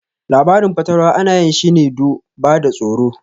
Labarin fatalwa ana yin shine do ba da tsoro